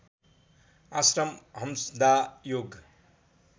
आश्रम हम्सदा योग